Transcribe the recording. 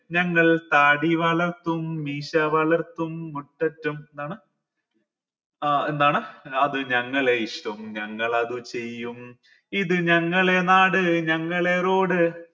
ഞങ്ങൾ താടി വളർത്തും മീശ വളര്‍ത്തും മുട്ടറ്റം എന്താണ് ഏർ എന്താണ് അത് ഞങ്ങളെ ഇഷ്ടം ഞങ്ങൾ അതു ചെയ്യും ഇത് ഞങ്ങളെ നാട് ഞങ്ങളെ road